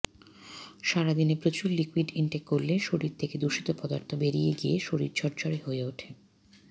সারাদিনে প্রচুর liquid intake করলে শরীর থেকে দূষিত পদার্থ বেরিয়ে গিয়ে শরীর ঝরঝড়ে হয়ে ওঠে